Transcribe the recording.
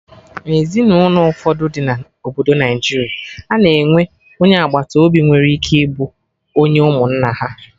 Na Ezinụlọ ụfọdụ dị na obodo Naijiria, a na-enwe onye agbata obi nwere ike ịbụ onye ụmụnna ha